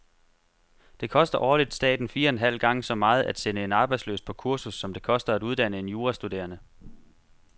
Det koster årligt staten fire en halv gange så meget at sende en arbejdsløs på kursus, som det koster at uddanne en jurastuderende.